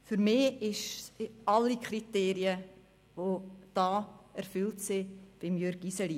Für mich sind alle Kriterien bei Jürg Iseli erfüllt.